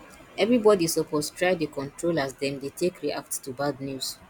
everybodi suppose try dey control as dem dey take react to bad news